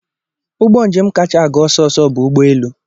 Ụgbọ njem kacha aga ọsọ ọsọ bụ ụgbọelu